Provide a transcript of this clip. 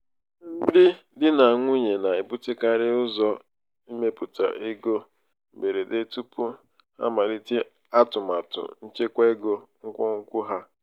ndị di na nwunye na-ebutekarị ụzọ ịmepụta ego mberede tupu ha amalite atụmatụ nchekwa ego nkwonkwo ha.